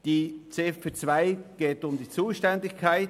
In Ziffer 2 geht es um die Zuständigkeit;